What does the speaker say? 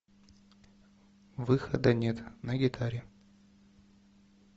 выхода нет на гитаре